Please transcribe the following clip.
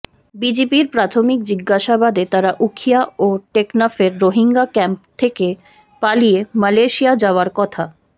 বিজিবির প্রাথমিক জিজ্ঞাসাবাদে তারা উখিয়া ও টেকনাফের রোহিঙ্গা ক্যাম্প থেকে পালিয়ে মালয়েশিয়া যাওয়ার কথা